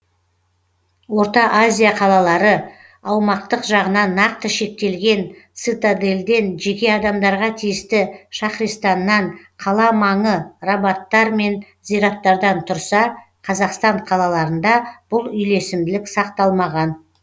орта азия қалалары аумақтық жағынан нақты шектелген цитадельден жеке адамдарға тиісті шаһристаннан қала маңы рабадтар мен зираттардан тұрса қазақстан қалаларында бұл үйлесімділік сақталмаған